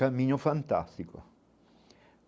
Caminho fantástico.